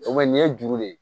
O ma nin ye juru de ye